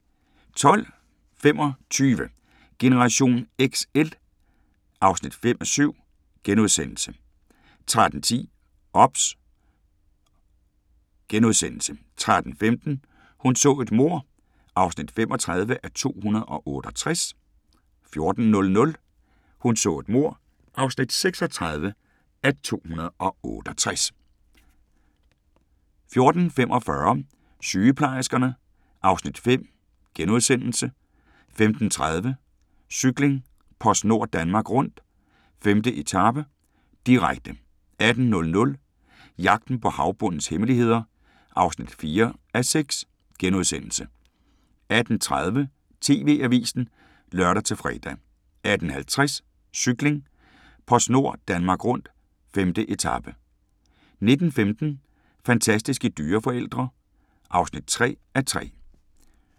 12:25: Generation XL (5:7)* 13:10: OBS * 13:15: Hun så et mord (35:268) 14:00: Hun så et mord (36:268) 14:45: Sygeplejerskerne (Afs. 5)* 15:30: Cykling: PostNord Danmark Rundt - 5. etape, direkte 18:00: Jagten på havbundens hemmeligheder (4:6)* 18:30: TV-avisen (lør-fre) 18:50: Cykling: PostNord Danmark Rundt - 5. etape 19:15: Fantastiske dyreforældre (3:3)